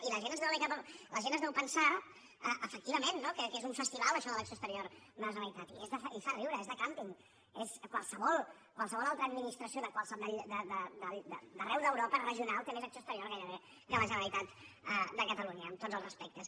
i la gent es deu pensar efectivament no que és un festival això de l’acció exterior de la generalitat i fa riure és de càmping qualsevol altra administració d’arreu d’europa regional té més acció exterior gairebé que la generalitat de catalunya amb tots els respectes